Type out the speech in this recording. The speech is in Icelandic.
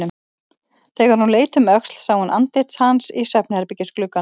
Þegar hún leit um öxl sá hún andlit hans í svefnherbergisglugganum.